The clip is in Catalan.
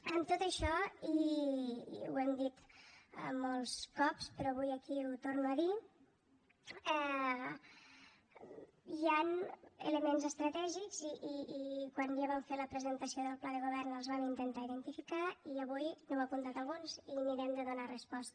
amb tot això i ho hem dit molts cops però avui aquí ho torno a dir hi han elements estratègics i quan ja vam fer la presentació del pla de govern els vam intentar identificar i avui n’heu apuntat alguns i mirarem de donar hi resposta